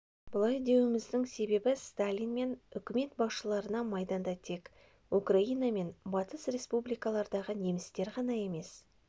бұлай деуіміздің себебі сталин мен үкімет басшыларына майданда тек украина мен батыс республикалардағы немістер ғана емес